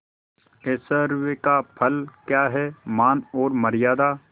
ऐश्वर्य का फल क्या हैमान और मर्यादा